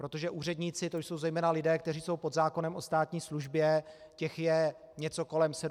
Protože úředníci, to jsou zejména lidé, kteří jsou pod zákonem o státní službě, těch je něco kolem 70 tisíc.